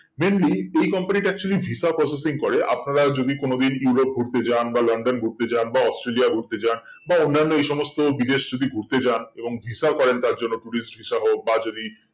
Randi এই company টা actually visa processing করে আপনারা যদি কোনো দিন US ঘুরতে যান বা লন্ডন ঘুরতে যান বা অস্ট্রেলিয়া ঘুরতে যান বা অন্যান এই সমস্ত বিদেশ যদি ঘুরতে যান এবং visa করেন তার জন্য tourist সহ বা যদি